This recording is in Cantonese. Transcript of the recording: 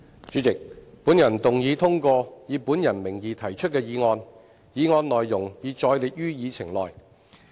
主席，本人動議通過以本人名義提出的議案，議案內容已載列於議程內。